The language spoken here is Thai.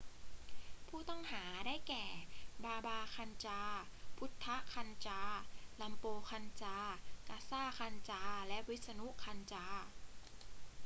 ผู้ต้องหา ได้แก่ บาบา คันจาร์ พุทธะ คันจาร์ รัมโปร คันจาร์ กาซา คันจาร์ และวิษณุ คันจาร์